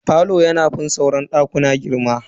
Falo yana fin sauran dakuna girma.